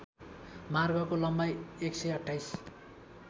मार्गको लम्बाई १२८